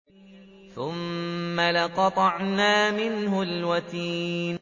ثُمَّ لَقَطَعْنَا مِنْهُ الْوَتِينَ